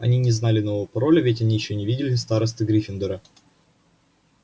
они не знали нового пароля ведь они ещё не видели старосты гриффиндора